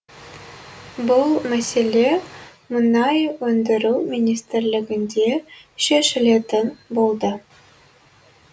бұл мәселе мұнай өндіру министрлігінде шешілетін болды